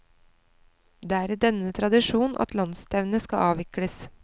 Det er i denne tradisjon at landsstevnet skal avvikles.